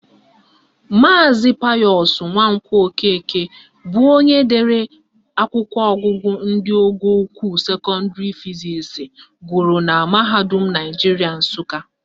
Maazi Payọsụ Nwankwọ Okeke bụ onye dere akwụkwọ ọgụgụ ndị ọgọ ukwuu sekọndịrị fizisi gụrụ na mahadum Naijiria Nsụka